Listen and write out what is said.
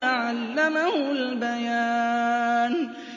عَلَّمَهُ الْبَيَانَ